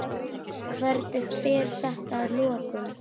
Hvernig fer þetta að lokum?